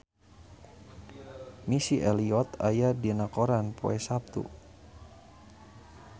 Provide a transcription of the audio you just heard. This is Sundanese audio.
Missy Elliott aya dina koran poe Saptu